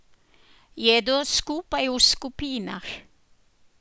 Jedo skupaj v skupinah.